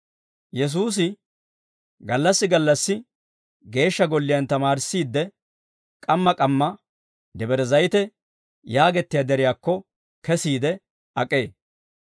Yesuusi gallassi gallassi geeshsha golliyaan tamaarissiide, k'amma k'amma Debre Zayite yaagettiyaa deriyaakko kesiide ak'ee.